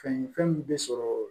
Fɛn ye fɛn min bɛ sɔrɔ